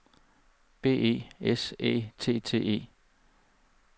B E S Æ T T E